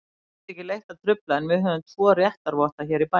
Mér þykir leitt að trufla, en við höfum tvo réttarvotta hér í bænum.